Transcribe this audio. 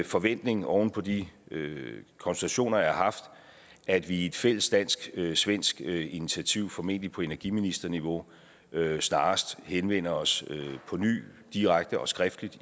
forventning oven på de konsultationer jeg har haft at vi i et fælles dansk svensk initiativ formentlig på energiministerniveau snarest henvender os på ny direkte og skriftligt